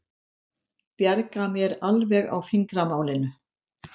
Bjarga mér alveg á fingramálinu.